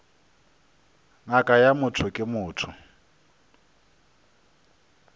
ngaka ya motho ke motho